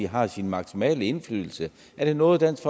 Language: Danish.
har sin maksimale indflydelse er det noget dansk